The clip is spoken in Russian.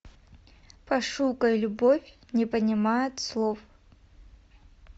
пошукай любовь не понимает слов